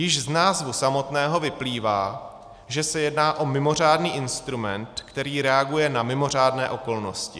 Již z názvu samotného vyplývá, že se jedná o mimořádný instrument, který reaguje na mimořádné okolnosti.